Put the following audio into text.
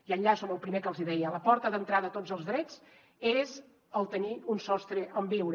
i enllaço amb el primer que els hi deia la porta d’entrada a tots els drets és el tenir un sostre on viure